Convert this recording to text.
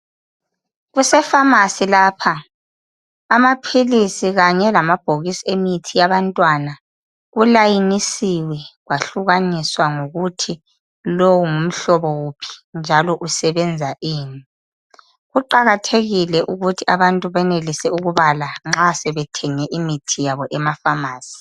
Kuse"pharmarcy "lapha. Amaphilisi kanye lamabhokisi emithi yabantwana kulayinisiwe kwahlukaniswa ngokuthi lowo ngumhlobo uphi njalo usebenza ini. Kuqakathekile ukuthi abantu benelise ukubala nxa sebethenge imithi yabo ema"pharmarcy ".